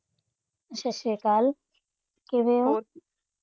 ਸਤਿ ਸ਼੍ਰੀ ਅਕਾਲ, ਕਿਵੇਂ ਹੋ?